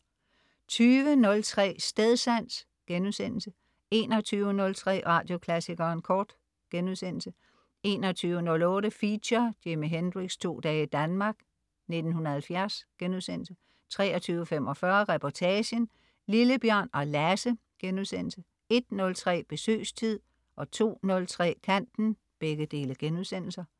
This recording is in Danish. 20.03 Stedsans* 21.03 Radioklassikeren Kort* 21.08 Feature: Jimi Hendrix' to dage i Danmark, 1970* 23.45 Reportagen: Lille-Bjørn og Lasse* 01.03 Besøgstid* 02.03 Kanten*